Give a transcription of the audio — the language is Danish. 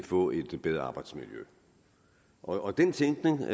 få et bedre arbejdsmiljø og den tænkning